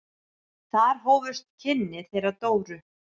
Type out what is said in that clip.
Þar hófust kynni þeirra Dóru.